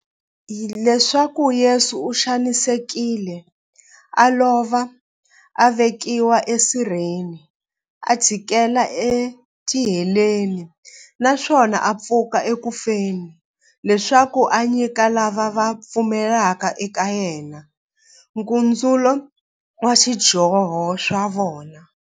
Leswaku Yesu u xanisekile, a lova, a vekiwa e sirheni, a chikela e tiheleni, naswona a pfuka eku feni, leswaku a nyika lava va pfumelaka eka yena, nkutsulo wa swidyoho swa vona.